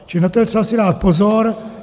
Čili na to je třeba si dát pozor.